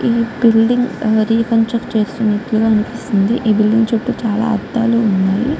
ఈ building reconstruction చేస్తున్నటుగ అనిపిస్తుంది. ఈ బిల్డింగ్ చుట్టూ చాల అద్దాలు వున్నాయ్.